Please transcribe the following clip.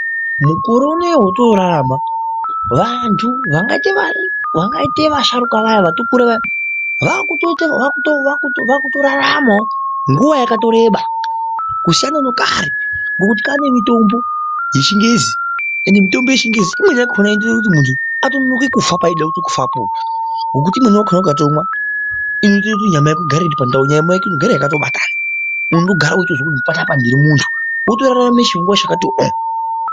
Mukore unowu watorarama wandu vangaite vari vangaite vasharuka vaya vatokura vaya vakutoraramawo nguwa yakatoreba kusiyana nekare ngekuti kwaane mitombo yechingezi ended mitombo yechingezi imweni yakona ndeyekuti mundu anonoke kufa paanenge ode kufapo nekuti imweni yakona ukatomwa inoite kuti nyama yako igare iripandawo nyama yako inogara yakatobatana munhu unogara uchizwa kuti panapa ndiri mundu wotorarama chinguva chakati ooo.